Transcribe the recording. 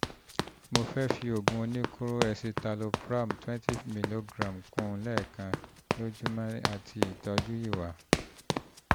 mo fẹ́ fi oògùn oníkóró escitalopram twenty milligram kún un lẹ́ẹ̀kan lójúmọ́ àti ìtọ́jú ìwà